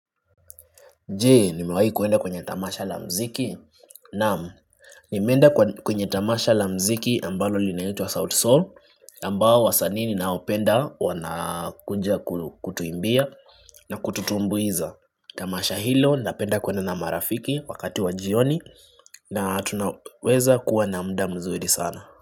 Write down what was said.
Je nimewahi kuenda kwenye tamasha la muziki? Naam. Nimeenda kwenye tamasha la muziki ambalo linaitwa sauti Sol ambao wasanii ninaopenda wanakuja kutuimbia na kututumbuiza. Tamasha hilo napenda kuenda na marafiki wakati wa jioni na tunaweza kuwa na muda mzuri sana.